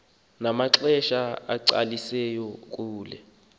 namaxesha acacisiweyo kule